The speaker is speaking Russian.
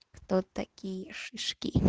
кто такие шишки